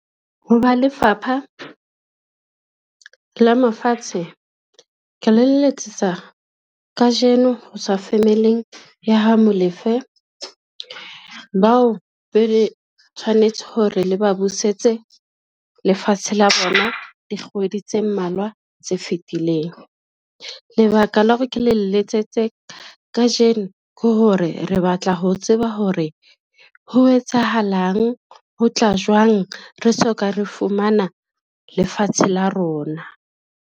Ho ba Lefapha la Mafatshe, ke le letsetsa kajeno ho tswa family-ng ya ha Molefe, bao be re tshwanetse hore le ba busetse lefatshe la bona dikgwedi tse mmalwa tse fitileng. Lebaka la hore ke le letsetse kajeno ke hore re batla ho tseba hore ho etsahalang, ho tla jwang re soka re fumana lefatshe la rona.